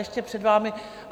Ještě před vámi...